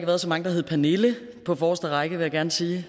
været så mange der hedder pernille på forreste række vil jeg gerne sige